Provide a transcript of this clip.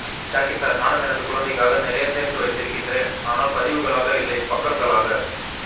Jackie sir நானும் எனது குழந்தைகாக நிறைய சேர்த்து வைத்திருக்கின்றேன் ஆனால் பதிவுகளாக இல்லை பக்கங்களாக